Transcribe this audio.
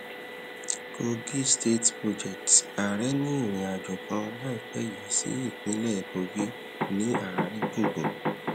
kogi state projects ààrẹ ní ìrìn àjò kan láìpé yìí sí ìpínlẹ kogi ní àárín gbùngbùn